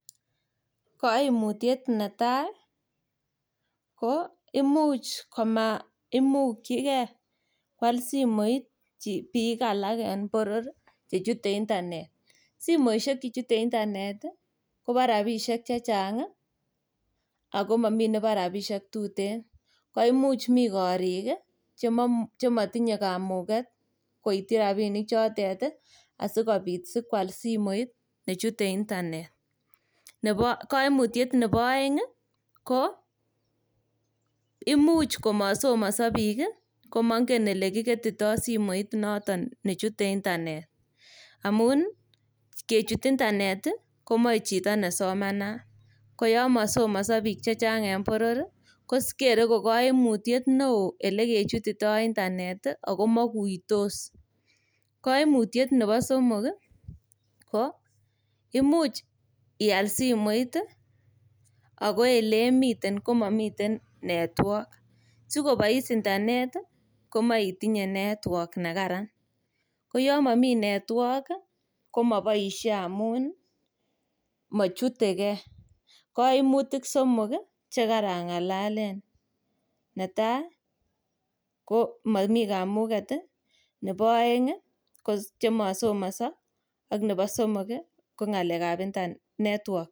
Kaimutiet netai ko imuch komaimukyige kwal simoit biik alak en boror che chute intanet. Simoisiek che chute intanet kobo rapisiek che chang ago mamiten nebo rapisiek tuten. Koimuch mi korik chemotinye kamuget koityi rapinik chotet asikwal simoit ne chute intanet. Kaimutiet nebo aeng ko imuch komasomoso biik komangen olekiketito simoit noton ne chute intanet amun kechut intanet komoe chito ne somanat. Koyon masomoso biik chechang en boror. Kokere ko kaimutyet neo olekechutito intanet ago maiguitos. Kaimutiet nebosomok ko imuch ial simoit ago elemiten komami network. Sikobois intanet komoe itinye network ne kararan. Koyon mami network komaboisie amun machutege. Kaimutik somok che karangalalen. Neta, komami kamuget, nebo aeng ko chemasomoso ak nebo somok ko ngalekab network